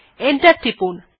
enter টিপুন